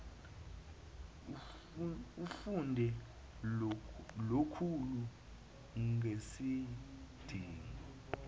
efunde lukhulu ngesidingo